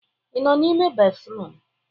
Ị nọ n'ime béfrụm?